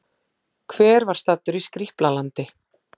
Hver var staddur í Skrýpla-landi?